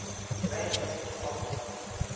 range mits offered